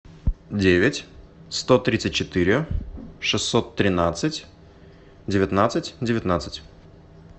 девять сто тридцать четыре шестьсот тринадцать девятнадцать девятнадцать